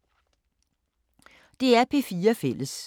DR P4 Fælles